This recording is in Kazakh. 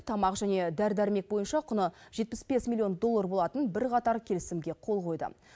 тамақ және дәрі дәрмек бойынша құны жетпіс бес милллион доллар болатын бірқатар келісімге қол қойды